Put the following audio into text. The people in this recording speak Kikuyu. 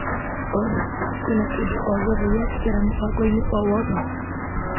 Olĩ ,kwina kĩndũ ogĩothe gĩatigara mũbango-inĩ o wothe ?